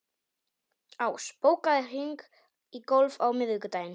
Ás, bókaðu hring í golf á miðvikudaginn.